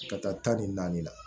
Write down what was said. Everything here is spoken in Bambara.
Ka taa ta ni naani na